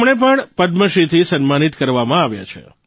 તેમને પણ પદ્મશ્રીથી સન્માનિત કરવામાં આવ્યા છે